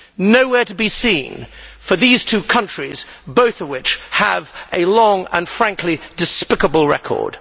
Nowhere to be seen for these two countries, both of which have a long and frankly despicable record.